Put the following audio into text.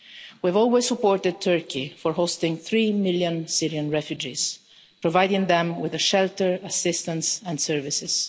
We have always supported Turkey for hosting three million Syrian refugees, providing them with shelter, assistance and services.